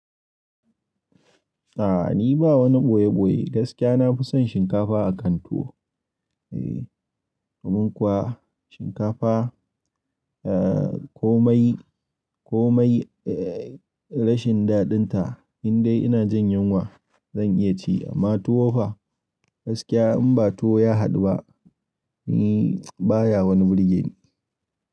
A'a ni ba wani ɓoye-ɓoye, gaskiya na fi son shinkafa akan tuwo. Eh, domin kuwa shinkafa, eh, komai, komai, eh, rashin daɗin ta, indai ina jin yunwa zan iya ci amma tuwo fa gaskiya in ba tuwo ya haɗu ba, ni baya wani birge ni.